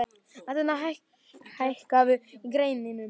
Anita, hækkaðu í græjunum.